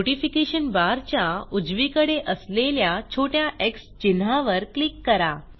notification बारच्या उजवीकडे असलेल्या छोट्या एक्स चिन्हावर क्लिक करा